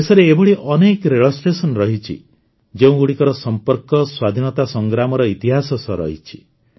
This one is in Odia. ଦେଶରେ ଏଭଳି ଅନେକ ରେଳ ଷ୍ଟେସନ ରହିଛି ଯେଉଁଗୁଡ଼ିକର ସମ୍ପର୍କ ସ୍ୱାଧୀନତା ସଂଗ୍ରାମର ଇତିହାସ ସହ ରହିଛି